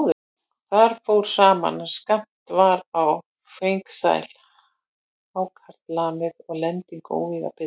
Þar fór saman, að skammt var á fengsæl hákarlamið og lending óvíða betri.